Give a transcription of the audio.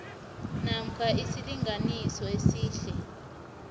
namkha isilinganiso esihle